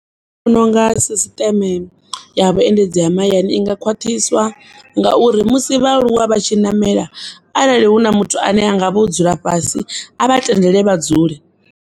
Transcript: Vhononga sisṱeme ya vhuendedzi ha mahayani inga khwaṱhiswa ngauri musi vhaaluwa vha tshi namela, arali huna muthu ane angavha o dzula fhasi a vha tendele vha dzule.